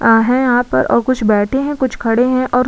आ हैं यहाँ पर और कुछ बैठे हैं कुछ खड़े हैं और --